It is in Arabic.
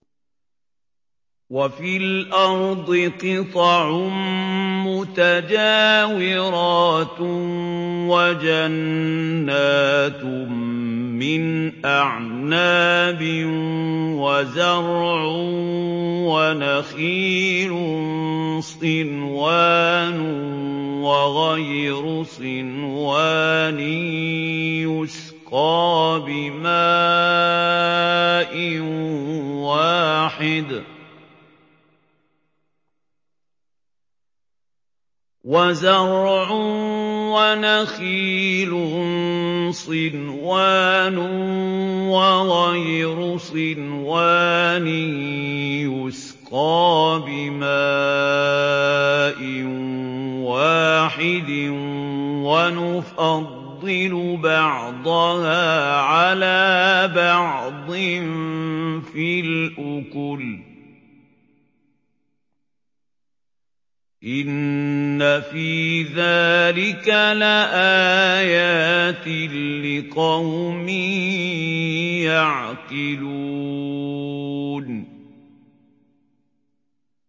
وَفِي الْأَرْضِ قِطَعٌ مُّتَجَاوِرَاتٌ وَجَنَّاتٌ مِّنْ أَعْنَابٍ وَزَرْعٌ وَنَخِيلٌ صِنْوَانٌ وَغَيْرُ صِنْوَانٍ يُسْقَىٰ بِمَاءٍ وَاحِدٍ وَنُفَضِّلُ بَعْضَهَا عَلَىٰ بَعْضٍ فِي الْأُكُلِ ۚ إِنَّ فِي ذَٰلِكَ لَآيَاتٍ لِّقَوْمٍ يَعْقِلُونَ